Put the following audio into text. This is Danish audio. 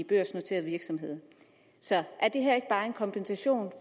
børsnoterede virksomheder er det her ikke bare en kompensation